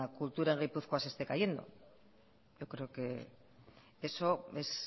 cultura en guipuzcoana se esté cayendo yo creo que eso es